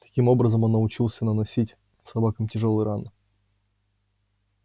таким образом он научился наносить собакам тяжёлые раны